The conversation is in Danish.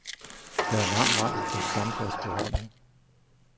Der er lang vej til en stamplads på holdet.